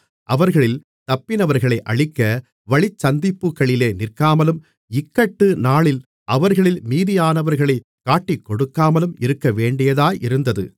அவர்களில் தப்பினவர்களை அழிக்க வழிச்சந்திப்புகளிலே நிற்காமலும் இக்கட்டு நாளில் அவர்களில் மீதியானவர்களைக் காட்டிக்கொடுக்காமலும் இருக்கவேண்டியதாயிருந்தது